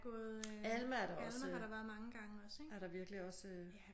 Alma er der også er der virkelig også